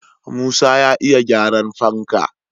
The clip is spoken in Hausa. Musa ya iya gyaran fanka